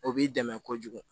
O b'i dɛmɛ kojugu